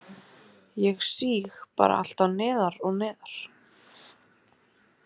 Ég síg bara alltaf neðar og neðar